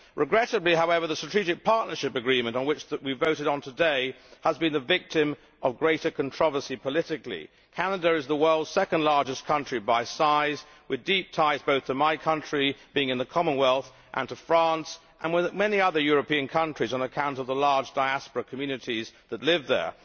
Regrettably, however, the strategic partnership agreement which we voted on today has been the victim of greater controversy politically. Canada is the world's second largest country by size, with deep ties both to my country, being in the Commonwealth, and to France, and with many other European countries on account of the large diaspora communities that live there.